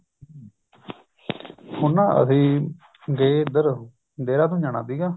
ਹੁਣ ਨਾ ਅਸੀਂ ਗਏ ਇੱਧਰ ਦੇਹਰਾਦੂਨ ਜਾਣਾ ਸੀਗਾ